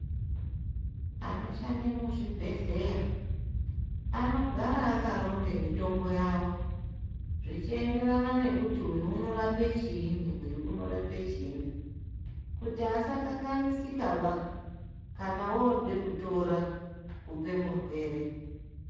Anoshande muzvibhedhlera anogare akaronga mitombo yawo, zvichienderana nekuti uyu unorape chii uyu unorape chii kuti asakanganisike ba kana ode kutora kupe murwere.